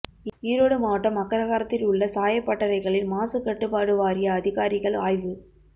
ஈரோடு மாவட்டம் அக்ரஹாரத்தில் உள்ள சாயப்பட்டறைகளில் மாசுக்கட்டுப்பாடு வாரிய அதிகாரிகள் ஆய்வு